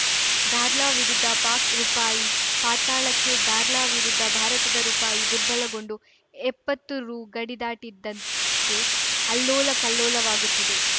dollar ವಿರುದ್ಧ ಪಾಕ್‌ ರುಪಾಯಿ ಪಾತಾಳಕ್ಕೆ ಡಾರ್ಲಾ ವಿರುದ್ಧ ಭಾರತದ ರುಪಾಯಿ ದುರ್ಬಲಗೊಂಡು ಎಪ್ಪತ್ತು ರು ಗಡಿ ದಾಟಿದ್ದಕ್ಕೆ ಅಲ್ಲೋಲಕಲ್ಲೋಲವಾಗುತ್ತಿದೆ